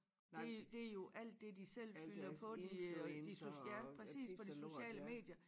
Det det jo alt det de selv fylder på de øh de ja præcis på de sociale medier